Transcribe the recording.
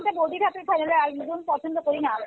তো বৌদি হাতের একদম পছন্দ করি না